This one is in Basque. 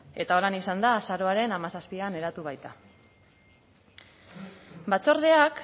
eta holan izan da azaroaren hamazazpian eratu baita batzordeak